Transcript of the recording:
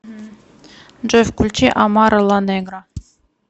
джой включи амара ла негра